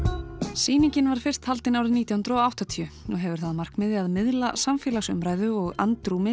sýningin var fyrst haldin árið nítján hundruð og áttatíu og hefur það að markmiði að miðla samfélagsumræðu og andrúmi